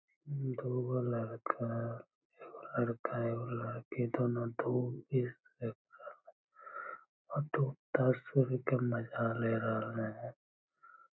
दूगो लड़का एगो लड़का एगो लड़की दुनु डूबता सूर्य के मजा ले रहले ये।